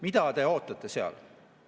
Mida te ootate seal?